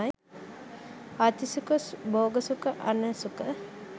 අත්ථී සුඛ, භෝග සුඛ, අණන සුඛ,